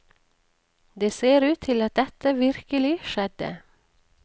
Det ser ut til at dette virkelig skjedde.